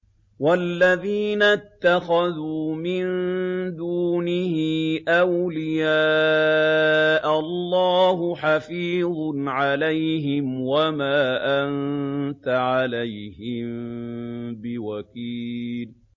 وَالَّذِينَ اتَّخَذُوا مِن دُونِهِ أَوْلِيَاءَ اللَّهُ حَفِيظٌ عَلَيْهِمْ وَمَا أَنتَ عَلَيْهِم بِوَكِيلٍ